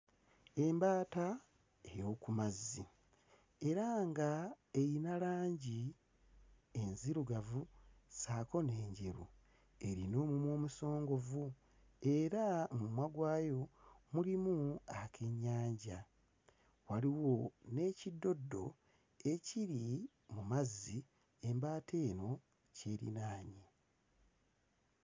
Embaata ey'oku mazzi era nga eyina langi enzirugavu ssaako n'enjeru. Erina omumwa omusongovu era mu mumwa gwayo mulimu akennyanja, waliwo n'ekiddoddo ekiri mu mazzi, embaata eno ky'erinaanye.